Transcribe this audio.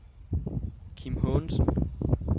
Kim Haagensen